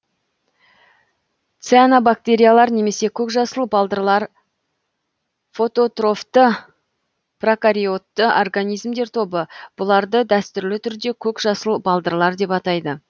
цианобактериялар немесе көкжасыл балдырлар фототрофты прокариотты организмдер тобы бұларды дәстүрлі түрде көк жасыл балдырлар деп атайды